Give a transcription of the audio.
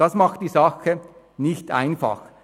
Das macht die Sache nicht einfach.